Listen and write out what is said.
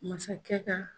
Masakɛ ka